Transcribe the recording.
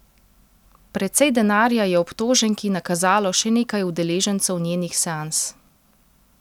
Precej denarja je obtoženki nakazalo še nekaj udeležencev njenih seans.